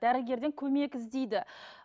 дәрігерден көмек іздейді